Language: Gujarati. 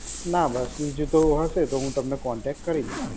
ના બસ. બીજું તો હશે તો હું તમને કોન્ટેક્ટ કરીશ.